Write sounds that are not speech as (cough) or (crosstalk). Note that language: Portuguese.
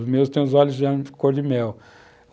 Os meus têm os olhos (unintelligible) de cor de mel.